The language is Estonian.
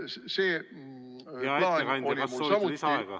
Hea ettekandja, kas soovite lisaaega?